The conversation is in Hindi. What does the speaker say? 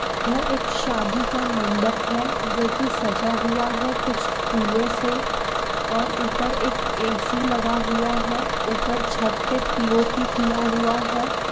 यह एक शादी का मंडप है। जोकी सजा हुवा है कुछ फूलों से और उपर एक ऐ_सी लगा हुवा है उपर छत पे पी_ओ_पी किया हुवा है।